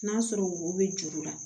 N'a sɔrɔ wo bɛ juru la